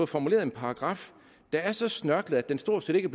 formuleret en paragraf der er så snørklet at den stort set ikke